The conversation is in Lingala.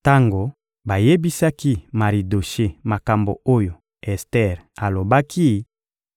Tango bayebisaki Maridoshe makambo oyo Ester alobaki,